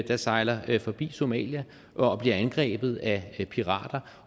der sejler forbi somalia og bliver angrebet af pirater